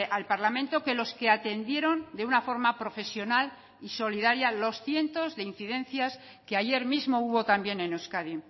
al parlamento que los que atendieron de una forma profesional y solidaria los cientos de incidencias que ayer mismo hubo también en euskadi